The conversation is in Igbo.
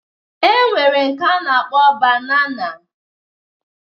E nwere nke a na-akpọ banana